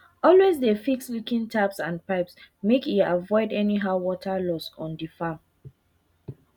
always dey fix leaking taps and pipes make e avoid anyhow water loss on dey farm